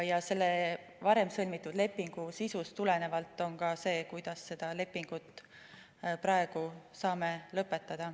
Ja selle varem sõlmitud lepingu sisust tuleneb ka see, kuidas me seda lepingut praegu saame lõpetada.